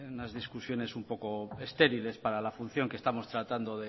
en unas discusiones un poco estériles para la función que estamos tratando